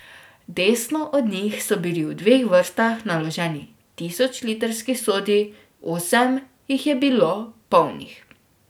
Desno od njih so bili v dveh vrstah naloženi tisočlitrski sodi, osem jih je bilo polnih.